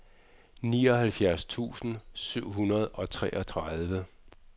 nioghalvfjerds tusind syv hundrede og treogtredive